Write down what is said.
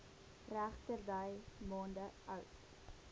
regterdy maande oud